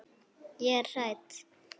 Ég er hrædd.